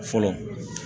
Fɔlɔ